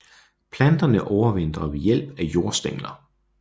Planterne overvintrer ved hjælp af jordstængler